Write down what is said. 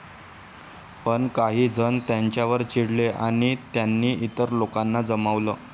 पण काही जण त्यांच्यावर चिडले आणि त्यांनी इतर लोकांना जमवलं.